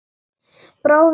Bráðum tíu.